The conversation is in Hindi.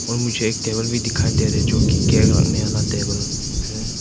और मुझे एक टेबल भी दिखाई दे रहे हैं जो कि केक रखने वाला टेबल है।